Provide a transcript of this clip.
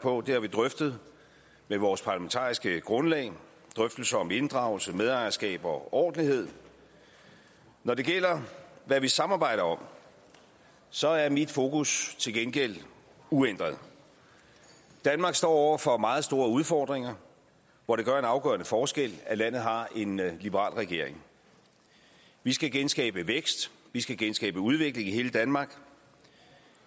på og det har vi drøftet med vores parlamentariske grundlag i drøftelser om inddragelse medejerskab og ordentlighed når det gælder hvad vi samarbejder om så er mit fokus til gengæld uændret danmark står over for meget store udfordringer hvor det gør en afgørende forskel at landet har en liberal regering vi skal genskabe væksten vi skal genskabe udviklingen i hele danmark